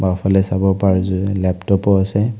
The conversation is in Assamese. বাওঁফালে চাব পাৰে যদি লেপট'প ও আছে।